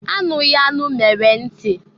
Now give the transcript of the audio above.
Anụghị anụ mere nti.